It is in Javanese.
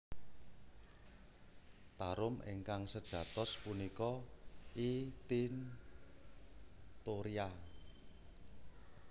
Tarum ingkang sejatos punika I tinctoria